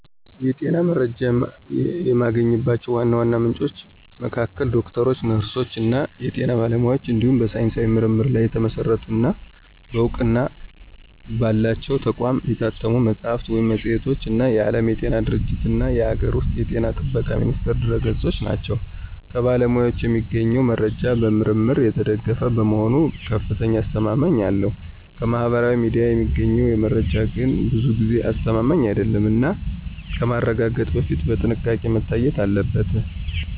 የጤና መረጃ የማገኝባቸው ዋና ዋና ምንጮች መካከል ዶክተሮች፣ ነርሶች እና የጤና ባለሙያዎች እንዲሁም በሳይንሳዊ ምርምር ላይ የተመሰረቱ እና በእውቅና ባላቸው ተቋማት የታተሙ መጽሐፍት ወይም መጽሔቶች እና የዓለም ጤና ድርጅትእና የአገር ውስጥ ጤና ጥበቃ ሚኒስቴር ድረ-ገጾች ናቸው። ከባለሙያዎች የሚገኘው መረጃ በምርምር የተደገፈ በመሆኑ ከፍተኛ አስተማማኝነት አለው። ከማህበራዊ ሚዲያ የሚገኘው መረጃ ግን ብዙ ጊዜ አስተማማኝ አይደለም እና ከማረጋገጥ በፊት በጥንቃቄ መታየት አለበት።